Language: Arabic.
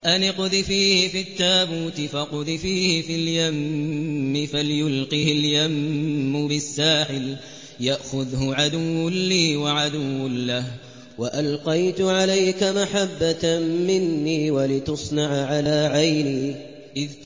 أَنِ اقْذِفِيهِ فِي التَّابُوتِ فَاقْذِفِيهِ فِي الْيَمِّ فَلْيُلْقِهِ الْيَمُّ بِالسَّاحِلِ يَأْخُذْهُ عَدُوٌّ لِّي وَعَدُوٌّ لَّهُ ۚ وَأَلْقَيْتُ عَلَيْكَ مَحَبَّةً مِّنِّي وَلِتُصْنَعَ عَلَىٰ عَيْنِي